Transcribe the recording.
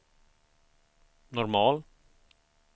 normal